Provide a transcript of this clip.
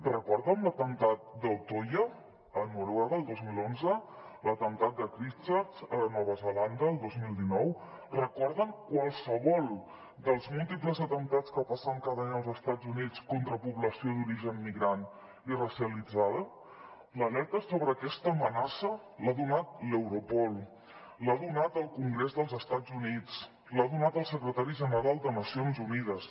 recorden l’atemptat d’utoya a noruega el dos mil onze l’atemptat de christchurch a nova zelanda el dos mil dinou recorden qualsevol dels múltiples atemptats que passen cada any als estats units contra població d’origen migrant i racialitzada l’alerta sobre aquesta amenaça l’ha donat l’europol l’ha donat el congrés dels estats units l’ha donat el secretari general de nacions unides